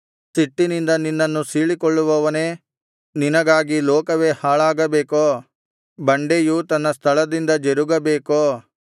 ಸಿಟ್ಟಿನಿಂದ ನಿನ್ನನ್ನು ಸೀಳಿಕೊಳ್ಳುವವನೇ ನಿನಗಾಗಿ ಲೋಕವೇ ಹಾಳಾಗಬೇಕೋ ಬಂಡೆಯು ತನ್ನ ಸ್ಥಳದಿಂದ ಜರುಗಬೇಕೋ